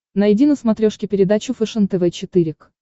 найди на смотрешке передачу фэшен тв четыре к